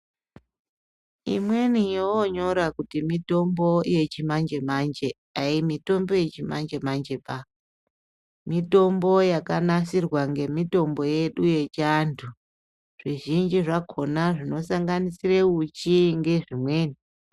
Imweni yovoonyora kuti mitombo yechimanje-manje haimitombo yechimanje-manje ba. Mitombo yakanasirwa ngemitombo yedu yechiantu. Zvizhinji zvakhona zvinosanganirisa uchi ngezvimweni.